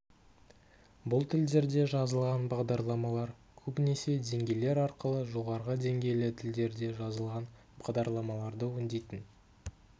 бұл тілдерде жазылған бағдарламалар көбінесе деңгейлер арқылы жоғарғы деңгейлі тілдерде жазылған бағдарламаларды өңдейтін